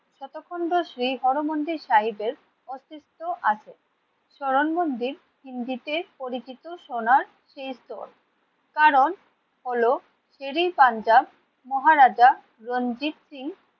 এতক্ষণ তো শ্রী হর মন্দির সাহেবের অস্তিত্ব আছে। চরণ মন্দির হিন্দিতে পরিচিত সোনার তীর্থ। কারণ হলো শের-ই-পাঞ্জাব মহারাজা রঞ্জিত সিং